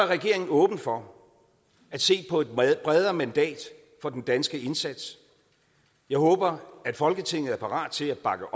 regeringen åben for at se på et bredere mandat for den danske indsats jeg håber at folketinget er parat til at bakke